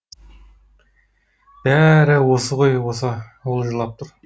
бә ә рі осы ғой осы ол жылап тұр